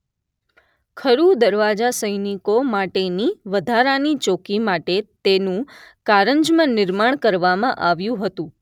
ખરું દરવાજા સૈનિકો માટેની વધારાની ચોકી માટે તેનું કારંજમાં નિર્માણ કરવામાં આવ્યું હતું